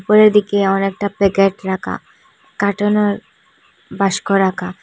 উপরের দিকে অনেকটা প্যাকেট রাখা কার্টনের বাস্ক রাখা।